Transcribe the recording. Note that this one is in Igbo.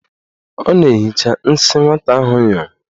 Ọ na-ehicha nsị nwata ahụ nyụrụ.